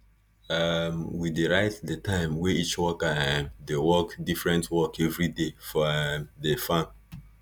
um we dey write di time wey each worker um dey work diffirent work evriday for um di farm